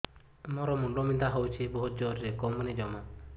ମୋର ମୁଣ୍ଡ ବିନ୍ଧା ହଉଛି ବହୁତ ଜୋରରେ କମୁନି ଜମା